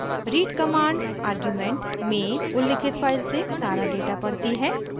read command argument में उल्लिखित file से सारा डेटा पढ़ती है